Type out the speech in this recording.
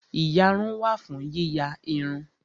Ìyarun wà fún yíya irun